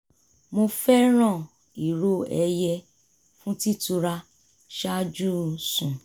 mo fẹ́ràn ìró ẹyẹ fún títura ṣáájú sùn